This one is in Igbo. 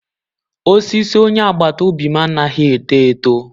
Osisi onye agbata obi m anaghị eto eto